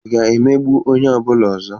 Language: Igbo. Ị ga-emegbu onye ọ bụla ọzọ?